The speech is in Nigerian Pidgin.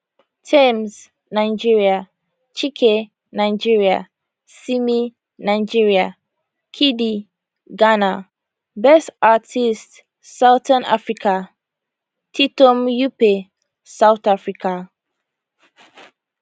tems nigeria chike nigeria simi nigeria kidi ghana best artist southern africa titom yuppe south africa